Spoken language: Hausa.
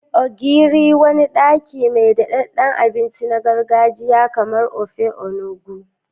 Ogiri: Wani daki mai daɗaɗɗen abinci na gargajiya kamar Ofe Onugbu.